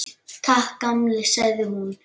Takk, gamli, sagði hún.